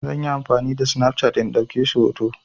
Zan yi amfani da Snapchat in ɗauke su hoto.